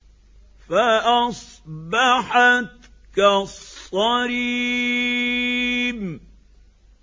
فَأَصْبَحَتْ كَالصَّرِيمِ